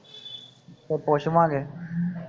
ਤੇ ਪੁੱਛਾ ਲਾਂ ਗੇ